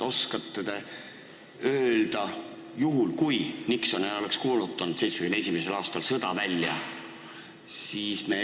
Oskate te öelda, mis juhtunuks, kui Nixon ei oleks 1971. aastal sõda välja kuulutanud?